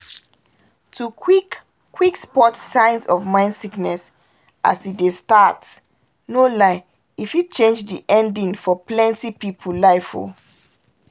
to quick-quick spot signs of mind sickness as e dey start no lie e fit change di ending for plenty pipul life o